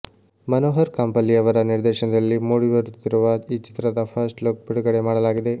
ಮನೋಹರ್ ಕಾಂಪಲ್ಲಿಯವರ ನಿರ್ದೇಶನದಲ್ಲಿ ಮೂಡಿ ಬರುತ್ತಿರುವ ಈ ಚಿತ್ರದ ಫಸ್ಟ್ ಲುಕ್ ಬಿಡುಗಡೆ ಮಾಡಲಾಗಿದೆ